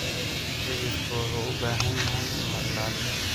Xididku wuxuu u baahan yahay in la ilaaliyo.